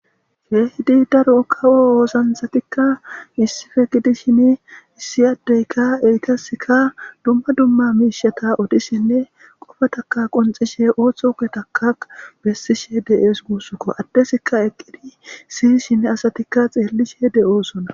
Keehidi daro kawo oosanchatikka issippe gidishinne issi addeyikka eytaska dumma dumma miishata odishinne qofa taka qonxishe ooththoke taka bessishe de'ees. Guussukko addesikka eqqidi siy shine asatikka xeellishe de'oosona.